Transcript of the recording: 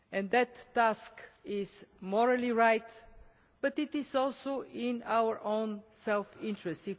That task is morally right, but it is also in our own self interest.